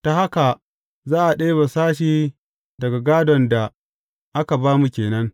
Ta haka za a ɗebe sashe daga gādon da aka ba mu ke nan.